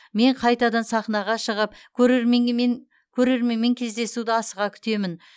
мен қайтадан сахнаға шығып көрерменімен көрерменмен кездесуді асыға күтемін